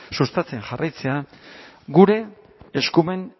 sustatzen jarraitzea gure eskumen